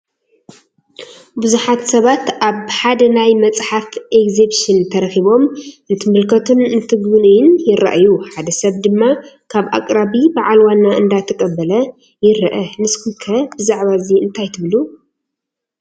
ብዙሓት ሰባት ኣብ ሓደ ናይ መፅሓፍ ኤግዚብሽን ተረኺቦም እንትምልከቱን እንትጉብኑይን ይረአዩ፡፡ ሓደ ሰብ ድማ ካብ ኣቕራቢ ባዓል ዋና እንዳተቐበለ ይረአ፡፡ ንስኹም ከ ብዛዕባ እዚ እንታይ ትብሉ?